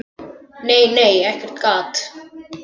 Nei, nei, ekkert gat!